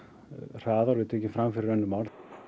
hraðar eru tekin fram fyrir önnur mál